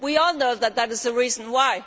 We all know that that is the reason